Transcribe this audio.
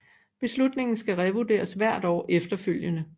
Beslutningen skal revurderes hvert år efterfølgende